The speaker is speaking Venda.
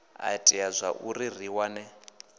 a itea zwauri ri wane